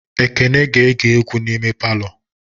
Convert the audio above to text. Ekene ga-ege egwu n'ime palọ